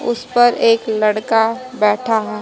उस पर एक लड़का बैठा है।